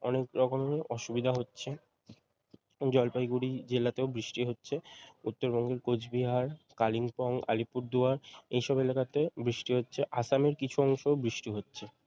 অনেক রকমের অসুবিধা হচ্ছে জলপাইগুড়ি জেলাতেও বৃষ্টি হচ্ছে উত্তরবঙ্গের কোচবিহার কালিম্পং আলিপুরদুয়ার এই সব এলাকাতে বৃষ্টি হচ্ছে আসামের কিছু অংশেও বৃষ্টি হচ্ছে